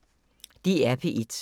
DR P1